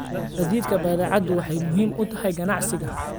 Gaadiidka badeecadu waxay muhiim u tahay ganacsiga.